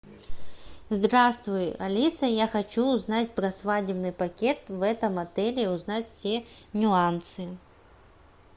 здравствуй алиса я хочу узнать про свадебный пакет в этом отеле и узнать все нюансы